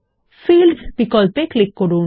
fields বিকল্পে click করুন